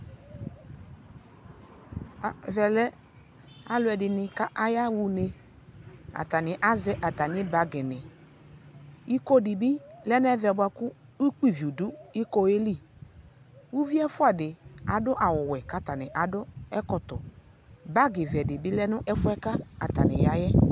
ɛvɛ lɛ aluɛdini kayaɣa unee atani aʒɛ atani bagi ni iko dibi lɛ nu ɛmɛ bua ku ukpiiviw du ikoeliUvi ɛfuadi adu awu wɛ kadu ɛkɔtɔ Bagi vɛɛdi bi du ɛfuɛ katani yaaɣɛ